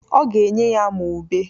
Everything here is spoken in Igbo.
Ọ ga-enye ya ma ube.